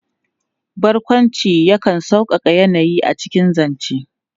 Barƙwanci yakan sauƙaƙa yanayi a cikin zance.